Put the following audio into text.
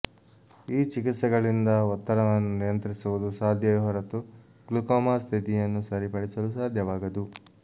ಈ ಚಿಕಿತ್ಸೆಗಳಿಂದ ಒತ್ತಡವನ್ನು ನಿಯಂತ್ರಿಸುವುದು ಸಾಧ್ಯವೇ ಹೊರತು ಗ್ಲುಕೋಮಾ ಸ್ಥಿತಿಯನ್ನು ಸರಿಪಡಿಸಲು ಸಾಧ್ಯವಾಗದು